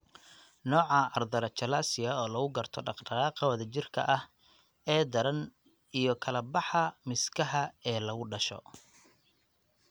Nooca Arthrochalasia oo lagu garto dhaqdhaqaaqa wadajirka ah ee daran iyo kala-baxa miskaha ee lagu dhasho.